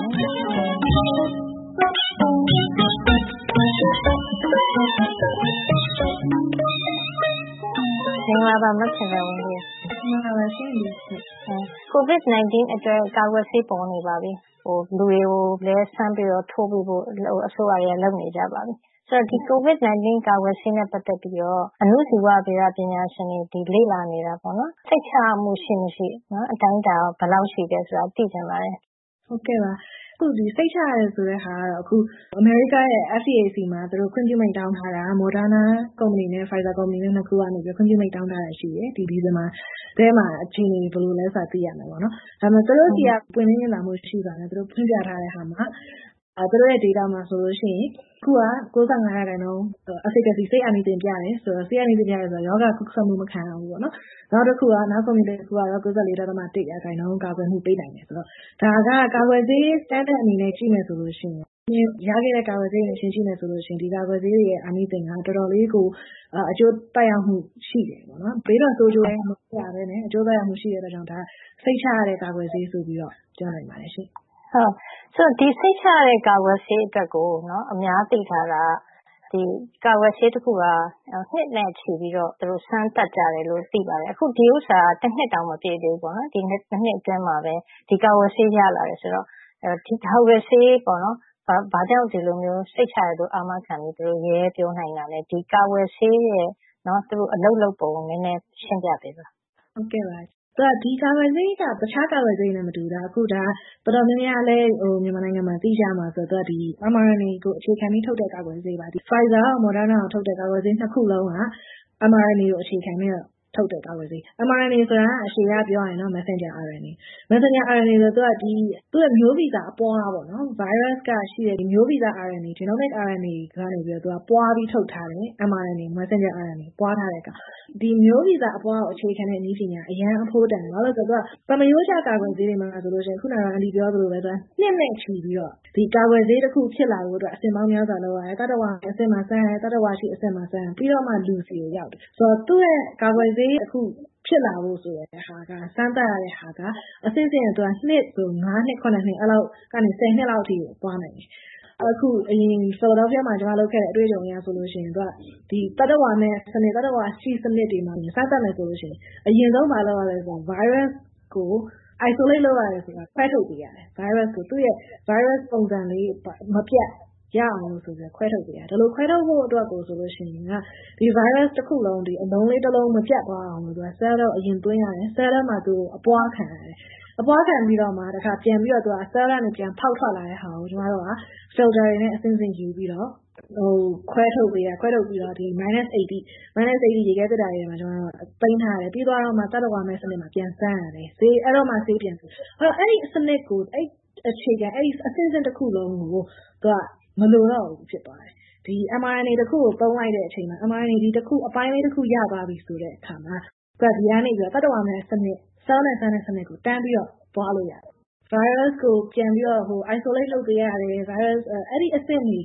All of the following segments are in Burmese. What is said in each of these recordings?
မေးမြန်းထားပါတယ်။ မင်္ဂလာပါ မခင်ဇာဝင်းပြည့်။ ကိုဗစ်-၁၉ အတွက် ကာကွယ်ဆေး ပေါ်နေပါပြီ။ လူတွေကို စမ်းပြီးတော့ ထိုးပေးဖို့ အစိုးရတွေက လုပ်နေကြပါပြီ။ ကိုဗစ်-၁၉ ကာကွယ်ဆေးနဲ့ ပတ်သက်ပြီးတော့ အဏုဇီဝဗေဒပညာရှင် လေ့လာနေတာ စိတ်ချရမှု ရှိမရှိ၊ အတိုင်းအတာ ဘယ်လောက်ရှိသလဲဆိုတာကို သိချင်ပါတယ်။ မင်္ဂလာပါ။ စိတ်ချရတယ်ဆိုတာကတော့ အခု အမေရိကရဲ့ FDA ဆီမှာ ခွင့်ပြုမိန့်တောင်းထားတာ Moderna ကုမ္ပဏီနဲ့ Pfizer ကုမ္ပဏီ နှစ်ခုက ခွင့်ပြုမိန့်တောင်းထားတာ ရှိတယ်။ ဒီဇင်ဘာထဲမှာ အခြေအနေ ဘယ်လိုလဲဆိုတာကို သိရမယ်။ ဒါပေမဲ့ သူတို့ဆီက ပွင့်လင်းမြင်သာမှု ရှိစွာနဲ့ ဖွင့်ပြထားတဲ့ဟာမှာ သူတို့ရဲ့ အချက်အလက် Data မှာဆိုရင် အခုကတော့ Efficacy ဆေးအာနိသင် ပြတယ်ဆိုတော့ ရောဂါကူးစက်မှု မခံရတော့ဘူးပေါ့။ နောက်ကုမ္ပဏီတစ်ခုကတော့ ကာကွယ်မှုနှုန်း ပေးနိုင်တယ်ဆိုတော့ ဒါက ကာကွယ်ဆေး standard တစ်ခုအနေနဲ့ ကြည့်မယ်ဆိုရင်တော့ ရခဲ့တဲ့ ကာကွယ်ဆေးတွေနဲ့ ယှဉ်ကြည့်မယ်ဆိုရင်တော့ ဒီကာကွယ်ဆေးတွေရဲ့ အာနိသင်က တော်တော်လေးကို အကျိုးသက်ရောက်မှု ရှိတယ်။ ဘေးထွက်ဆိုးကျိုးလည်း မရှိဘဲနဲ့ အကျိုးသက်ရောက်မှု ရှိတဲ့အတွက် စိတ်ချရတဲ့ ကာကွယ်ဆေးဆိုပြီး ပြောနိုင်ပါတယ်။ စိတ်ချရတဲ့ ကာကွယ်ဆေးအတွက်ကို အများသိထားတာက ကာကွယ်ဆေးတစ်ခုက နှစ်နဲ့ချီပြီးတော့ စမ်းသပ်ကြတယ်လို့ သိရပါတယ်။ ဒီစမ်းသပ်မှုက တစ်နှစ်တောင် မပြည့်သေးဘူး။ ဒီနှစ်အတွင်းမှာပဲ ကာကွယ်ဆေး ရလာတယ်ဆိုတော့ ဒီကာကွယ်ဆေးက ဘာကြောင့် စိတ်ချရတယ်လို့ သူတို့ အာမခံပြီး ရဲရဲကြီး ပြောနိုင်တာလဲ။ ဒီကာကွယ်ဆေးရဲ့ အလုပ်လုပ်ပုံကို နည်းနည်းရှင်းပြပေးပါ။ ဒီကာကွယ်ဆေးက တခြားကာကွယ်ဆေးတွေနဲ့ မတူတာက တော်တော်များများလည်း မြန်မာနိုင်ငံမှာ သိကြမှာက mRNA ကို အခြေခံပြီး ထုတ်ကြတဲ့ ကာကွယ်ဆေးပါ။ Pfizer နဲ့ Moderna ထုတ်တဲ့ ကာကွယ်ဆေးနှစ်ခုစလုံးဟာ mRNA ကို အခြေခံပြီးတော့ ထုတ်တဲ့ ကာကွယ်ဆေး။ mRNA အရှည်က messenger RNA - သူ့ရဲ့ မျိုးဗီဇအပွား - ဗိုင်းရပ်စ်က ရှိနေတဲ့ မျိုးဗီဇ RNA – genomic RNA ကနေ ပွားပြီးထုတ်ထားတဲ့ messenger RNA ပွားပြီး ထုတ်ထားတာ။ ဒီမျိုးဗီဇအပွားကို အခြေခံတဲ့ နည်းပညာက အရမ်းအဖိုးတန်တယ်။ ဘာဖြစ်လို့လဲဆိုတော့ သာမရိုးကျ ကာကွယ်ဆေးတွေမှာဆိုရင် အခုန အန်တီပြောသလိုပဲ နှစ်နဲ့ချီပြီးတော့ ဒီကာကွယ်ဆေးတစ်ခု ဖြစ်လာဖို့အတွက် အဆင့်ပေါင်းများစွာ လုပ်ရတယ်။ သတ္တဝါအဆင့်မှာ စမ်းရတယ်။ သတ္တဝါအရှင်အဆင့်မှာ စမ်းပြီးမှ လူဆီကို ရောက်တယ်။ အခု ကာကွယ်ဆေး ဖြစ်လာဖို့ဆိုတာက စမ်းသပ်တဲ့ဟာက နှစ်နဲ့ဆိုရင် နှစ် နှစ်လောက်ကနေ နှစ်လောက်ကို သွားတယ်။ အရင် Philadelphia ပြည်နယ်မှာတုန်းက လုပ်ခဲ့တဲ့ အတွေ့အကြုံအရဆိုရင် သူက သတ္တဝါမဲ့၊ သတ္တဝါရှိ အဆင့်တွေမှာ စမ်းသပ်မယ်ဆိုရင် အရင်ဆုံး ဘာလုပ်ရသလဲဆိုရင် ဗိုင်းရပ်စ်ကို isolate လုပ်ရတယ်ဆိုတာ ဗိုင်းရပ်စ်ကို ခွဲထုတ်ပေးရတယ်။ သူ့ရဲ့ ဗိုင်းရပ်စ်ပုံစံလေး မပျက်ရအောင် ခွဲထုတ်ပေးရတယ်။ ဒီလိုခွဲထုတ်ဖို့ဆိုရင် ဒီဗိုင်းရပ်တစ်ခုလုံး အလုံးလေးတစ်လုံး မပျက်သွားအောင် Cell ထဲကို အရင်သွင်းရတယ်။ Cell ထဲမှာ အပွားခံရတယ်။ အပွားခံပြီးတော့မှ ပြန်ပြီးတော့ Cell ထဲက ပြန်ဖောက်ထွက်လာတဲ့ဟာကို ကျမတို့က Filter တွေနဲ့ အဆင့်ဆင့်ယူပြီးတော့ ခွဲထုတ်ပေးရတယ်။ ခွဲထုတ်ပြီးတော့မှ Minus 80 ရေခဲသေတ္တာထဲမှာ သိမ်းထားပြီးမှ သတ္တဝါမဲ့စနစ်မှာ ပြန်စမ်းရတယ်။ အဲဒီတော့မှ ဆေးပြန်ဖြစ်တယ်။ အဲဒီစနစ် အဲဒီအခြေခံအဆင့်ဆင့်တစ်ခုလုံးကို အခုက မလိုတော့ဘူး ဖြစ်သွားတယ်။ ဒီ mNRA တစ်ခုကို သုံးလိုက်တဲ့အချိန်မှာ ဒီ mNRA အပိုင်းလေးတစ်ခု ရသွားပြီဆိုတဲ့အခါမှာ ဒီကနေ သတ္တဝါမဲ့စနစ် Cell နဲ့ စမ်းတဲ့စနစ်ကို တန်းပြီးတော့ သွားလို့ရတယ်။ ဗိုင်းရပ်စ်ကို ပြန်ပြီးတော့ Isolated လုပ်ပေးရတယ်။ အဲဒီအဆင့်တွေ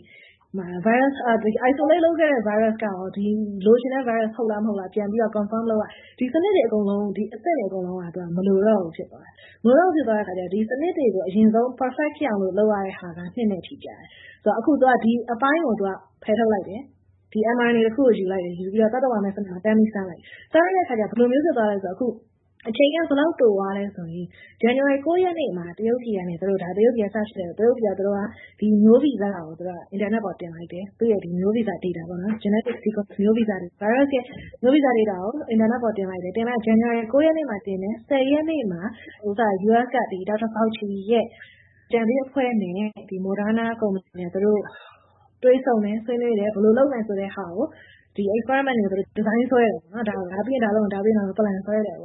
မှာ Isolated လုပ်ခဲ့တဲ့ ဗိုင်းရပ်စ်က လိုချင်တဲ့ ဗိုင်းရပ်စ် ဟုတ်လားမဟုတ်လား ပြန်ပြီးတော့ Confirm လုပ်ရတယ်။ ဒီစနစ်တွေ အကုန်လုံး အဆင့်တွေအကုန်လုံးက မလိုတော့ဘူး ဖြစ်သွားတယ်။ မလိုတော့ဘူးဆိုတော့ ဒီစနစ်တွေကို အရင်ဆုံး Perfect ဖြစ်အောင် လုပ်ရတဲ့ဟာက နှစ်နဲ့ချီကြာတယ်။ အခု ဒီအပိုင်းကို ဖယ်ထုတ်လိုက်တယ်။ mNRA တစ်ခုကို ယူလိုက်တယ်။ သတ္တဝါမဲ့စနစ်မှာ တန်းပြီးတော့ စမ်းလိုက်တယ်။ စမ်းလိုက်တဲ့အခါကြတော့ ဘယ်လိုမျိုး ဖြစ်သွားသလဲဆိုတော့ အခု အချိန်တွေက ဘယ်လောက်ပိုသွားသလဲဆိုရင် ဇန်နဝါရီလ ရက်နေ့မှာ တရုတ်ပြည်ကနေ ဒီမျိုးဗီဇကို အင်တာနက်ပေါ် တင်လိုက်တယ်။ အဲဒီမျိုးဗီဇ data – genetic sequence ဗိုင်းရပ်စ်ရဲ့ မျိုးဗီဇ data ကို အင်တာနက်ပေါ် တင်လိုက်တယ်။ ဇန်နဝါရီလ ရက်နေ့မှာ US က Dr. Fauci ရဲ့ အကြံပေးအဖွဲ့နဲ့ Moderna ကုမ္ပဏီနဲ့ တွေ့ဆုံတယ်။ ဆွေးနွေးကြတယ်။ ဘယ်လိုလုပ်မလဲဆိုတာကို Experiment တွေ ဒီဇိုင်းဆွဲကြတယ်။ အစီအစဉ်ဆွဲပြီးတဲ့အခါကြတော့ ရက်ပိုင်းအတွင်းမှာ Phase 1 အဆင့်တစ် စ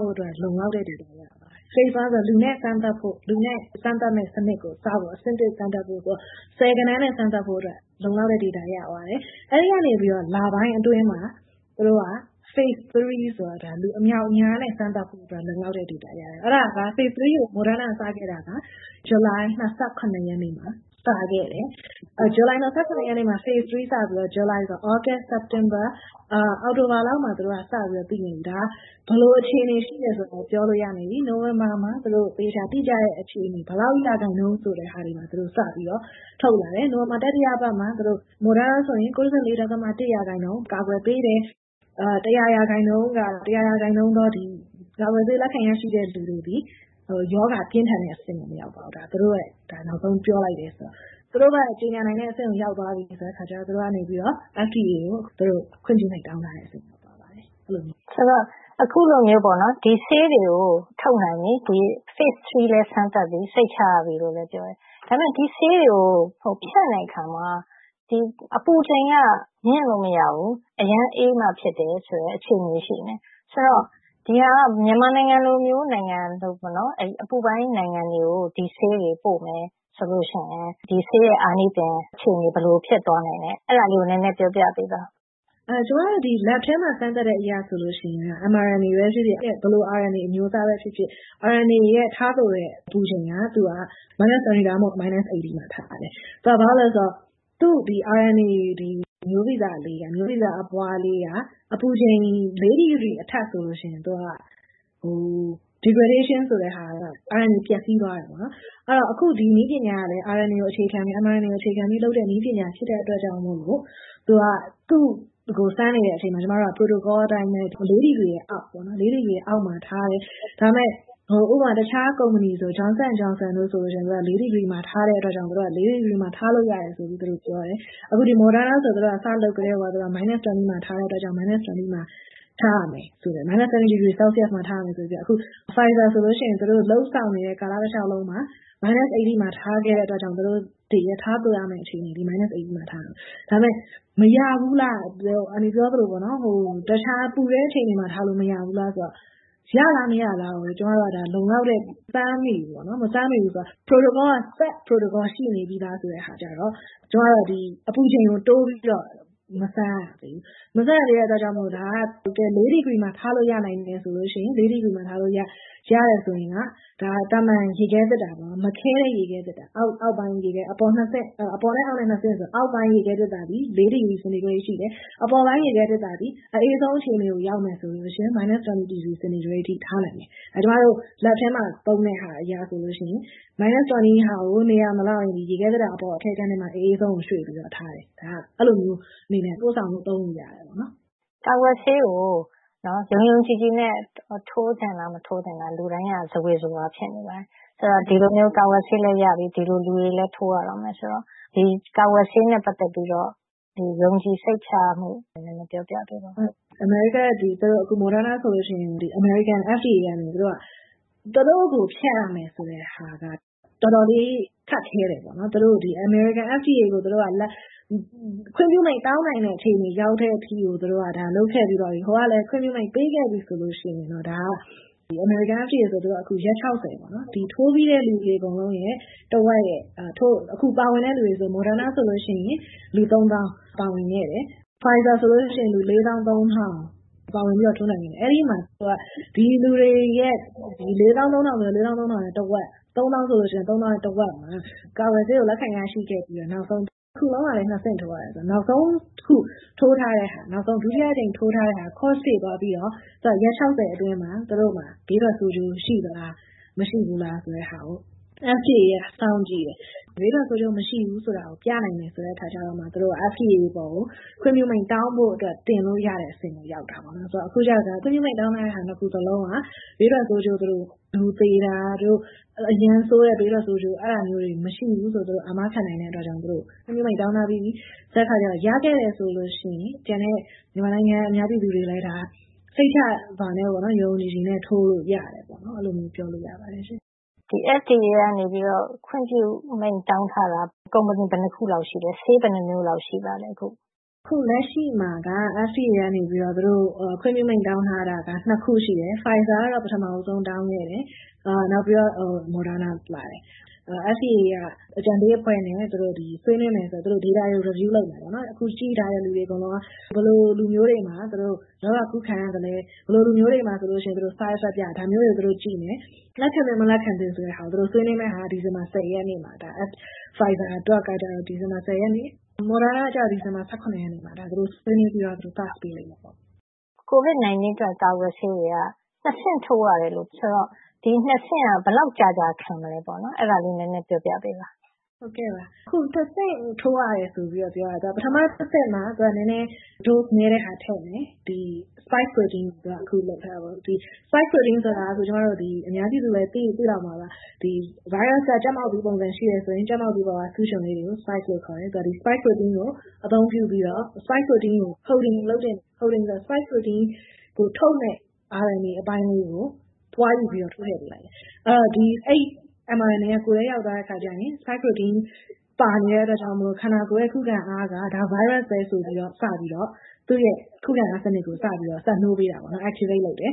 ဖို့အတွက်ကို လုံလောက်တဲ့ Data ရသွားတယ်။ Phase-1 ဆိုတာ လူနဲ့စမ်းသပ်ဖို့ အဆင့်ဆင့်စမ်းသပ်ဖို့ ဆယ်ဂဏန်းနဲ့ စမ်းသပ်ဖို့အတွက် လုံလောက်တဲ့ အချက်အလက် data တွေ ရသွားခဲ့တယ်။ အဲဒီကနေ လပိုင်းအတွင်းမှာ သူတို့က Phase-3 လူအမြောက်အမြားနဲ့ စမ်းသပ်ဖို့အတွက် လုံလောက်တဲ့ data ရရှိသွားခဲ့တယ်။ Phase-3 ကို Moderna က စခဲ့တာက ဇူလိုင် ရက်နေ့မှာ စခဲ့တယ်။ ဇူလိုင် ရက်နေ့မှာ Phase-3 စခဲ့ပြီးတော့ သြဂုတ်၊ စက်တင်ဘာ၊ အောက်တိုဘာလလောက်မှာ သူတို့က စပြီးတော့ ပြီးနေပြီ။ ဒါက ဘယ်လိုအခြေအနေ ရှိနေပြီဆိုတာကို ပြောနိုင်ပြီ။ နိုဝင်ဘာမှာ သူတို့ သေချာတိကျတဲ့အခြေအနေ ဘယ်လောက်ရာခိုင်နှုန်း ဆိုတာတွေကို သူတို့ စပြီးတော့ ထုတ်လာတယ်။ နိုဝင်ဘာလ တတိယပတ်မှာ Moderna ဆိုရင် % ကာကွယ်ပေးတယ်။ % ကာကွယ်ဆေး လက်ခံရရှိသောလူတွေသည် ရောဂါပြင်းထန်တဲ့အဆင့်ကို မရောက်သွားတော့ဘူး။ သူတို့ နောက်ဆုံးပြောလိုက်တဲ့ ကြေညာနိုင်တဲ့အဆင့်ကို ရောက်သွားပြီဆိုတော့ သူတို့က FDA ကို ခွင့်ပြုမိန့် တောင်းထားတာ ဖြစ်လာပါတယ်။ ဆိုတော့ အခုလိုမျိုး ဒီဆေးတွေကို ထုတ်နိုင်ပြီ။ Phase-3 လည်း စမ်းသပ်ပြီးပြီ။ စိတ်ချရပြီလို့လည်း ပြောတယ်။ ဒါပေမဲ့ ဒီဆေးတွေကို ဖြန့်တဲ့အခါမှာ အပူချိန်က မြင့်လို့မရဘူး။ အရမ်းအေးမှ ဖြစ်တယ်ဆိုတဲ့ အခြေအနေ ရှိနေတယ်။ ဆိုတော့ ဒီဟာက မြန်မာနိုင်ငံလိုမျိုး အပူပိုင်းနိုင်ငံတွေကို ဒီဆေးတွေ ပိုမယ်ဆိုရင် ဒီဆေးရဲ့ အာနိသင် အခြေအနေ ဘယ်လိုဖြစ်သွားနိုင်မယ့်ဆိုတာကို နည်းနည်းပြောပြပေးပါ။ ကျမတို့ Lab ထဲမှာ စမ်းသပ်မှုအရဆိုရင်တော့ mRNA ပဲဖြစ်ဖြစ်၊ ဘယ်လို RNA ပဲ ဖြစ်ဖြစ်၊ RNA ကို ထားသိုးတဲ့ အပူချိန်က minus twenty or minus eighty မှာ ထားရတယ်။ သူက ဘာဖြစ်လို့လဲဆိုတော့ သူ့ RNA မျိုးဗီဇအပွားလေးက အပူချိန် ဒီဂရီအထက်ဆိုရင် သူက ပျက်ဆီးသွားတယ်။ အခု ဒီနည်းပညာကလည်း RNA ကို အခြေခံပြီး လုပ်တဲ့နည်းပညာဖြစ်တော့ သူကို စမ်းနေတဲ့အချိန်မှာ ကျမတို့က protocol အတိုင်းပဲ ဒီဂရီအောက်မှာ ထားရတယ်။ ဒါပေမဲ့ ဥပမာ တခြားကုမ္ပဏီ Johnson & Johnson ကုမ္ပဏီဆိုရင် ဒီဂရီမှာ ထားတဲ့အတွက်ကြောင့်မို့ ဒီဂရီမှာ ထားလို့ရတယ်လို့ ပြောတယ်။ Moderna ဆိုရင်တော့ စလုပ်ကတည်းက Minus 20 Celsius မှာ ထားတဲ့အတွက်ကြောင့်မို့ Minus twenty မှာ ထားရမယ်။ Pfizer ဆိုရင်တော့ လုပ်ဆောင်နေတဲ့ ကာလတလျှောက်လုံးမှာ Minus eighty Celsius ထားသိုးခဲ့တဲ့အတွက် သူတို့တွေရဲ့ ထားသိုးရမယ့် အခြေအနေက Minus eighty ဖြစ်တယ်။ ဒါပေမဲ့ မရဘူးလား - အန်တီပြောသလို - တခြားပူတဲ့အချိန်၊ အခြေအနေမှာ ထားလို့မရဘူးလားဆိုတာကတော့ ရလား၊ မရလား ဆိုတာကို ကျမတို့က လုံလောက်တဲ့ စမ်းသပ်မှုတွေ မရှိသေးဘူး။ Set Protocol က ရှိနေပြီတဲ့အခါကြတော့ အပူချိန်ကို တိုးပြီးတော့ မစမ်းရသေးဘူး။ မစမ်းရသေးတဲ့အတွက် ဒါက ဒီဂရီမှာထားလို့ ရနိုင်တယ်ဆိုရင် ဒီဂရီမှာ ထားလို့ရတယ်ဆိုရင် သာမန်ရေခဲသေတ္တာ၊ ရေမခဲတဲ့အပိုင်း အောက်ဘက်ခြမ်းအကန့်က ဒီဂရီ စင်တီဂရိတ် ရှိတယ်။ အပေါ်ပိုင်းအကန့်သည် အအေးဆုံးအချိန်ကို ရောက်မယ်ဆိုရင် Minus twenty စင်တီဂရိတ်အထိ ထားနိုင်တယ်။ ကျမတို့ ဓါတ်ခွဲခန်းထဲမှာ သုံးတဲ့အရာရဆိုရင် Minus twenty ကို နေရာမလောက်ရင် ရေခဲသေတ္တာအပေါ်ပိုင်းအကန့်မှာ အအေးဆုံးကို ရွှေ့ပြီးတော့ ထားတယ်။ အဲဒီလိုမျိုးအနေနဲ့ ပို့ဆောင်ပြီး သုံးလို့ရပါတယ်။ ကာကွယ်ဆေးကို ယုံယုံကြည်ကြည်နဲ့ ထိုးသင့်လား၊ မထိုးသင့်လား လူတိုင်းက ဇဝေဇဝါ ဖြစ်နေပါတယ်။ ဆိုတော့ ဒီလိုမျိုး ကာကွယ်ဆေးလည်း ရပြီ၊ လူတွေလည်း ထိုးရတော့မယ်ဆိုတော့ ကာကွယ်ဆေးနဲ့ ပတ်သက်ပြီးတော့ ယုံကြည်စိတ်ချရမှုကို နည်းနည်းပြောပြပေးပါ။ အမေရိကမှာ အခု Moderna ဆိုရင် အမေရိကန် FDA ကနေ သူတို့ကို ဖြတ်ရမယ်ဆိုတဲ့ဟာက တော်တော်လေး ခက်ခဲတယ်။ အမေရိကန် FDA ကို လက်ခံအောင် ခွင့်ပြုမိန့် တောင်းနိုင်တဲ့ အခြေအနေ ရောက်တဲ့အထိကို လုပ်ခဲ့ပြီးတော့ ဟိုကလည်း ခွင့်ပြုမိန့် ပေးခဲ့ပြီဆိုရင် ဒါက အမေရိကန် FDA က ရက် ထိုးပြီးတဲ့ လူတွေအကုန်လုံးနဲ့ အခုပါဝင်တဲ့ လူတွေရဲ့ တစ်ဝက်။ Moderna ဆိုရင် လူ သောင်း ပါဝင်ခဲ့တယ်။ Pfizer ဆိုရင် လူ သောင်း ထောင် ပါဝင်ခဲ့တယ်။ အဲဒီမှာ ဒီလူတွေရဲ့ တစ်ဝက်မှာ ကာကွယ်ဆေးကို လက်ခံရရှိပြီးတော့ အဆင့် ဆင့် ထိုးရတယ်ဆိုတော့ နောက်ဆုံးအဆင့် ဒုတိယအကြိမ် ထိုးထားတဲ့ဟာက ဆေးပတ်ပြည့်သွားပြီးတော့ ရက် အတွင်းမှာ ဘေးထွက်ဆိုးကျိုး ရှိသလား၊ မရှိဘူးလားဆိုတာကို FDA က စောင့်ကြည့်တယ်။ ဘေးထွက်ဆိုးကျိုး မရှိဘူးဆိုတာကို ပြနိုင်တယ်ဆိုတော့မှ FDA ကို ခွင့်ပြုဖို့တောင်းဖို့အတွက် တင်လို့ရတဲ့အဆင့်ကို ရောက်တာ။ အခုကြတော့ ခွင့်ပြုမိန့် တောင်းထားတဲ့ နှစ်ခုစလုံးက ဘေးထွက်ဆိုးကျိုး - လူသေတာ၊ အရမ်းဆိုးတဲ့ ဘေးထွက်ဆိုးကျိုးတွေ မရှိဘူးဆိုတာကို အာမခံနိုင်တာကြောင့် ခွင့်ပြုမိန့် တောင်းထားပြီးဆိုတော့ ရခဲ့တယ်ဆိုရင်တော့ ကျန်တဲ့ မြန်မာနိုင်ငံ အများပြည်သူတွေလည်း စိတ်ချစွာနဲ့ ယုံယုံကြည်ကြည်နဲ့ ထိုးလို့ရတယ်။ အဲဒီလိုမျိုး ပြောလို့ရပါတယ်။ FDA ကနေ ခွင့်ပြုမိန့် တောင်းထားတာ ကုမ္ပဏီ ဘယ်နှစ်ခုလောက် ရှိသလဲ။ ဆေးဘယ်နှစ်မျိုးလောက် ရှိပါသလဲ။ အခုလက်ရှိမှာက FDA ကနေ ခွင့်ပြုမိန့် တောင်းထားတာက နှစ်ခု ရှိတယ်။ Pfizer ကတော့ ပထမဦးဆုံး တောင်းခဲ့တယ်။ နောက်ပြီးတော့ Moderna ပါတယ်။ FDA က အကြံပေးအဖွဲ့နဲ့ ဆွေးနွေးမယ်။ Data တွေကို Review လုပ်မယ်။ အခုကြည့်ထားတဲ့ လူတွေအကုန်လုံးက ဘယ်လိုလူမျိုးတွေမှာ ရောဂါကူးခံရသလဲ။ ဘယ်လိုလူမျိုးတွေမှာ side-effects ဘေးထွက်ဆိုးကျိုးများလဲ။ ဒါမျိုးတွေကို ကြည့်ကြလိမ့်မယ်။ လက်ခံသင့်၊ မလက်ခံသင့်ဆိုတာကို သူတို့ဆွေးနွေးမယ့်ဟာက ဒီဇင်ဘာလ ရက်နေ့မှာ Pfizer ဖြစ်ပြီး၊ Moderna က ဒီဇင်ဘာလ ရက်နေ့မှာ သူတို့ဆွေးနွေးပြီးတော့ Pass ပေးလိမ့်မယ်။ ကိုဗစ်-၁၉ အတွက် ကာကွယ်ဆေးတွေက နှစ်ဆင့် ထိုးရတယ်ဆိုတော့ ဒီနှစ်ဆင့်က ဘယ်လောက်ကြာကြာ ခံမလဲ။ အဲဒါလေးကိုလည်း နည်းနည်းပြောပြပေးပါ။ နှစ်ဆင့်ထိုးရတယ်ဆိုပြီးတော့ ပြောတာက ပထမအဆင့်မှာ နည်းနည်း Dose နည်းတာကို ထည့်မယ်။ spike protein ကို ပြောတာပေါ့ - spike protein ကိုတော့ အများပြည်သူတွေလည်း သိလောက်မှာပါ - ဗိုင်းရပ်စ်က ကြက်မောက်သီးပုံစံ ရှိတယ်ဆိုရင် ကြက်မောက်သီးပေါ်က ဆူးချွန်လေးတွေကို spike လို့ ခေါ်တယ်။ spike protein ကို အသုံးပြုပြီးတော့ spike protein ထုတ်တဲ့ RNA အပိုင်းလေးကို ပွားယူပြီးတော့ ထိုးထည့်ပေးလိုတယ်။ အဲဒီ mNRA က ကိုယ်ထဲရောက်သွားတဲ့အခါမှာ spike protein ပါနေတဲ့အတွက်ကြောင့်မို့ ခန္ဓာကိုယ်ရဲ့ ခုခံအားက ဗိုင်းရပ်စ်ပဲ ဆိုပြီးတော့ စပြီးတော့ သူ့ရဲ့ ခုခံအားစနစ်ကို စပြီးတော့ စက်နှိုးပေးတယ် - activate လုပ်တယ်။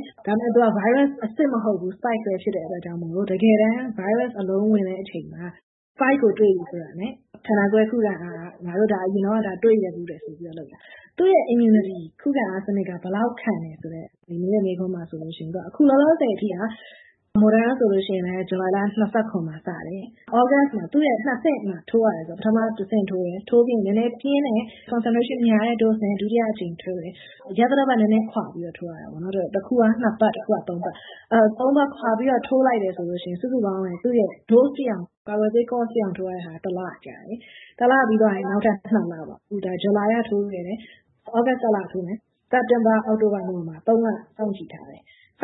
ဒါပေမဲ့ ဗိုင်းရပ်စ်အစစ် မဟုတ်ဘူး။ Spike ပဲ ဖြစ်တဲ့အတွက်ကြောင့်မို့ တကယ်တမ်း ဗိုင်းရပ်စ်အလုံး ဝင်တဲ့အချိန်မှာ Spike ကို တွေ့ပြီဆိုတာနဲ့ ခန္ဓာကိုယ်ရဲ့ ခုခံအားက ဒါက ငါတို့အရင်တုန်းက တွေ့ခဲ့ဖူးတယ်ဆိုပြီး အလုပ်လုပ်တာ။ သူရဲ့ immunity ခုခံအားစနစ်က ဘယ်လောက်ခံသလဲဆိုတဲ့ မေးခွန်းမှာဆိုလို့ရှိရင် အခုလောလောဆယ်အထိ Moderna ဆိုရင် ဇူလိုင်လ မှာ စတယ်။ သြဂုတ်မှာ သူ့ရဲ နှစ်ဆင့်ကို ထိုးရတယ်ဆိုတော့ ပထမအဆင့် ထိုးတယ်။ ထိုးပြီးတော့ နည်းနည်း Dose များတာနဲ့ ဒုတိယအကြိမ် ထိုးတယ်။ ရက်သတ္တပတ်နည်းနည်းခွါပြီးတော့ ထိုးရတာပေါ့။ တစ်ခုက နှစ်ပတ်၊ တစ်ခုက သုံးပတ် ခွါပြီးတော့ ထိုးလိုက်တယ်ဆိုရင် စုစုပေါင်း Dose ပြည့်အောင် ကာကွယ်ဆေးပြည့်အောင် ထိုးရတာက တစ်လ ကြာတယ်။ တစ်လပြီးသွားရင် နောက်ထပ် နှစ်လအတွင်း - အခု ဇူလိုင်က ထိုးတယ်။ သြဂုတ်လမှာ တစ်ကြိမ်ထပ်ထိုးတယ်။ ပြီးတော့ စက်တင်ဘာ၊ အောက်တိုဘာ၊ နိုဝင်ဘာ လ စောင့်ကြည့်ထားတယ်။ အ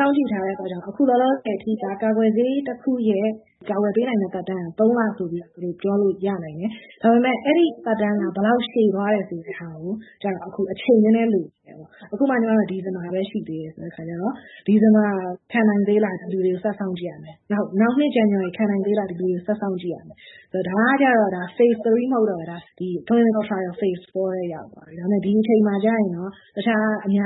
ခုလောလောဆယ်အထိက ကာကွယ်ဆေးတစ်ခုရဲ့ ကာကွယ်ပေးနိုင်တဲ့ သက်တမ်းက လ ဆိုပြီးတော့ ပြောလို့ ရနိုင်တယ်။ ဒါပေမဲ့ အဲဒီသက်တမ်းက ဘယ်လောက် ရှည်သွားတယ်ဆိုတာကိုတော့ အခု အချိန်နည်းနည်း လိုသေးတယ်။ အခုမှ ဒီဇင်ဘာပဲ ရှိသေးတယ်ဆိုတော့ ဒီဇင်ဘာမှာ ခံနိုင်သေးလားဆိုတာကို ထိုးထားတဲ့ လူတွေကို စောင့်ကြည့်ရမယ်။ နောက်နှစ် ဇန်နဝါရီ ခံနိုင်သေးလားဆိုတာကို ဒီလူတွေကို စောင့်ကြည့်ရမယ်။ ဒါကတော့ Phase-3 မဟုတ်တော့ဘဲ၊ Clinical Trial Phase 4 ထဲ ရောက်ရှိနေပါပြီ။ ဒီအချိန်မှာတော့ အခြားအများ